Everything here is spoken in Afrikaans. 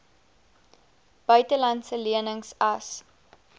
buitelandse lenings as